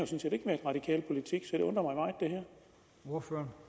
radikale ordfører